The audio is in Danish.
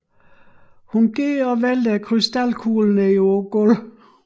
Hun går og vælter krystalkuglen ned på gulvet